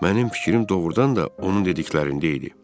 Mənim fikrim doğrudan da onun dediklərində idi.